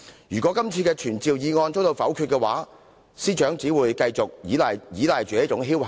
如果今次的傳召議案被否決，司長只會繼續心存僥幸。